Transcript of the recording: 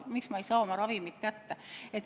Miks ma ei saa oma ravimeid kätte?